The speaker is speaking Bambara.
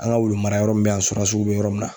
An ga wulumarayɔrɔ min be yan surasiw be yɔrɔ min na